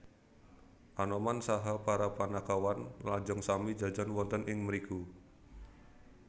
Anoman saha para Panakawan lajeng sami jajan wonten ing mriku